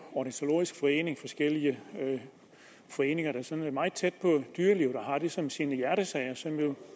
ornitologisk forening og forskellige foreninger der sådan er meget tæt på dyrelivet og har det som sin hjertesag kerer sig jo